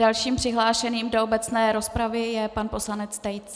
Dalším přihlášeným do obecné rozpravy je pan poslanec Tejc.